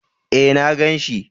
E, na gan shi.